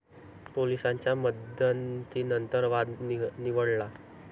पोलिसांच्या मध्यस्थीनंतर वाद निवळला.